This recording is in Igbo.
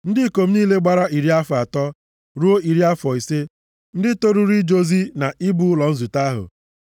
Ndị ikom niile gbara iri afọ atọ ruo iri afọ ise, ndị toruru ije ozi na ibu ụlọ nzute ahụ